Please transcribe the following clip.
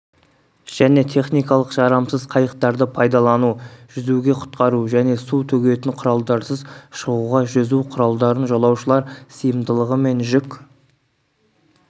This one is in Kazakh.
және техникалық жарамсыз қайықтарды пайдалану жүзуге құтқару және су төгетін құралдарсыз шығуға жүзу құралдарын жолаушылар сыйымдылығы мен жүк